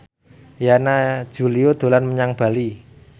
Yana Julio dolan menyang Bali